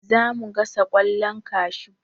Za mu gasa ƙwallon kashu.